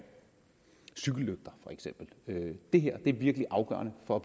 cykellygter det her er virkelig afgørende for